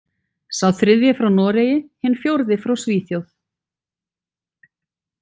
Sá þriðji frá Noregi, hinn fjórði frá Svíþjóð.